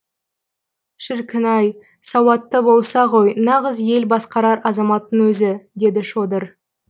шіркін ай сауаты болса ғой нағыз ел басқарар азаматтың өзі деді шодыр